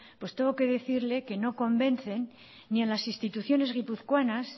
tengo que decirle que no convencen ni a las instituciones guipuzcoanas